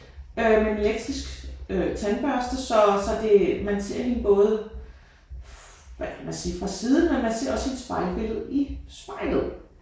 Øh med en elektrisk øh tandbørste så så det man ser hende både hvad kan man sige fra siden men man ser også hendes spejlbillede i spejlet